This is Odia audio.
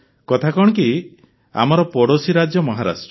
କଥା କଣ କି ଆମର ପଡ଼ୋଶୀ ରାଜ୍ୟ ମହାରାଷ୍ଟ୍ର